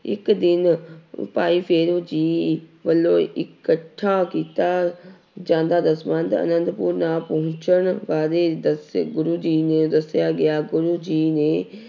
ਇੱਕ ਦਿਨ ਭਾਈ ਫੇਰੂ ਜੀ ਵੱਲੋਂ ਇਕੱਠਾ ਕੀਤਾ ਜਾਂਦਾ ਦਸਵੰਧ ਆਨੰਦਪੁਰ ਨਾ ਪਹੁੰਚਣ ਬਾਰੇ ਦੱਸੇ ਗੁਰੂ ਜੀ ਨੇ ਦੱਸਿਆ ਗਿਆ ਗੁਰੂ ਜੀ ਨੇ